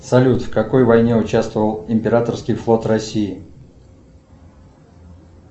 салют в какой войне участвовал императорский флот россии